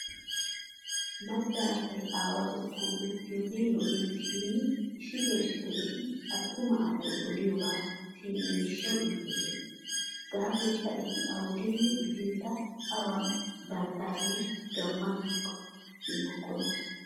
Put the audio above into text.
Macca asay aawatettan uttiyogee lo"ees shin issitoo issito eti attuma asay odiyobaa siyenna gishshawu iitoosona. Gaasoykka eti awudenne gidinkka awan banttaagee gamma giikko simmokkona.